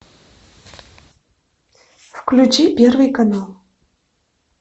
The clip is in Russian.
включи первый канал